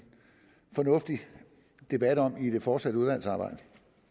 fornuftig debat om i det fortsatte udvalgsarbejde